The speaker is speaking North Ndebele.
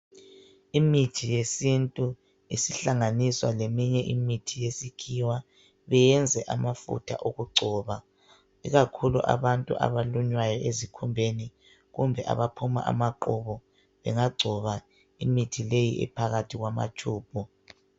Imithi yesintu isihlanganiswa leminye imithi yesikhiwa beyenze amafutha okugcoba. Ikakhulu abantu abalunywayo esikhumbeni kumbe abaphuma amaqubu, bangagcoba imithi leyi ephakathi kwamatshubhu.